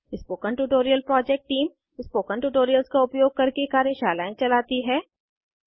spoken tutorial project team spoken tutorials का उपयोग करके कार्यशालाएं चलाती है